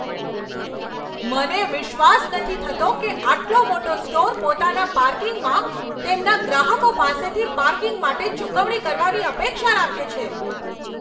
મને વિશ્વાસ નથી થતો કે આટલો મોટો સ્ટોર પોતાના પાર્કિંગમાં તેમના ગ્રાહકો પાસેથી પાર્કિંગ માટે ચૂકવણી કરવાની અપેક્ષા રાખે છે!